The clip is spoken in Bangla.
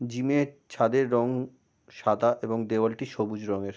জিম -র ছাদের রং সাদা এবং দেয়াল টি সবুজ রং এর।